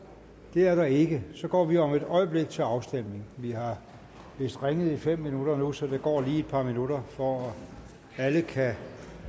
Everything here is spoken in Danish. det er der ikke så går vi om et øjeblik til afstemning vi har vist ringet i fem minutter nu så der går lige et par minutter for at alle kan